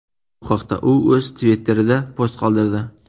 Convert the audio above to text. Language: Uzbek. Bu haqda u o‘z Twitter’ida post qoldirdi.